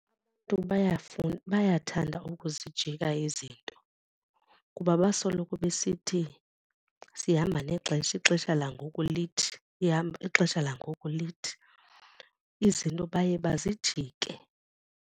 Tu bayathanda okuzijika izinto kuba basoloko besithi sihamba nexesha ixesha langoku lithi, ixesha langoku lithi. Izinto baye bazijike.